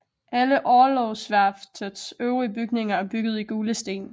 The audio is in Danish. Alle orlogsværftets øvrige bygninger er bygget i gule sten